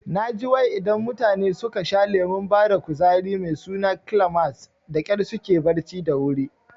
Naji wai idan mutane suka sha lemon bada kuzari mai suna Climax dakyar suke barci da wuri